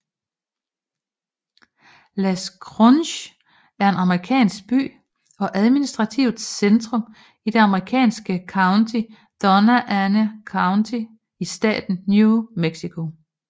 Las Cruces er en amerikansk by og administrativt centrum i det amerikanske county Doña Ana County i staten New Mexico